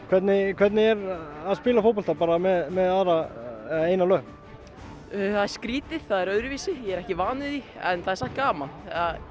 hvernig hvernig er að spila fótbolta með eina löpp það er skrítið öðruvísi ég er ekki vanur því en það er samt gaman